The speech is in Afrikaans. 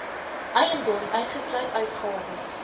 eiendom uitgesluit uitgawes